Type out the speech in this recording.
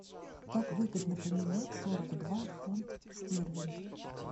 как выгодно поменять сорок два фунт стерлинг